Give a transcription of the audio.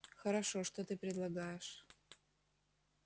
хорошо что ты предлагаешь